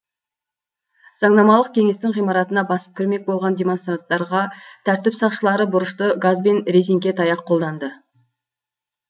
заңнамалық кеңестің ғимаратына басып кірмек болған демонстранттарға тәртіп сақшылары бұрышты газ бен резеңке таяқ қолданды